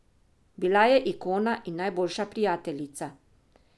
Bila je ikona in najboljša prijateljica.